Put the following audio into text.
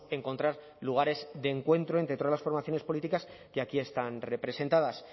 encontrar lugares de encuentro entre todas las formaciones políticas que aquí están representadas